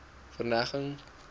verneging